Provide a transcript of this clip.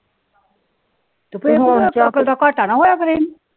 ਤ ਘਾਟਾ ਨਾ ਹੋਇਆ